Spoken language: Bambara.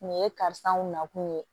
Nin ye karisaw nakun ye